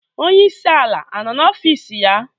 Onyeisi ala anọ n'ọfịs ya?